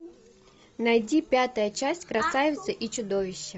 найди пятая часть красавица и чудовище